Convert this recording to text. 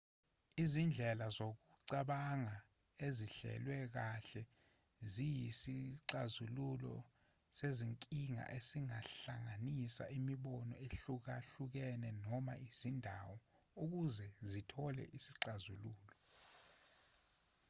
izindlela zokucabanga ezihlelwe kahle ziyisisxazululo sezinkinga esihlanganisa imibono ehlukahlukene noma izindawo ukuze zithole isixazululo